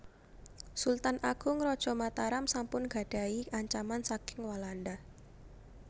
Sultan Agung Raja Mataram sampun gadhahi ancaman saking Walanda